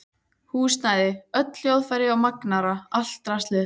Húsnæði, öll hljóðfæri og magnara, allt draslið.